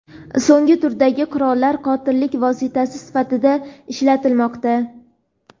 so‘nggi turdagi qurollar qotillik vositasi sifatida ishlatilmoqda.